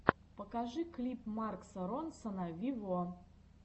покажи клип марка ронсона вево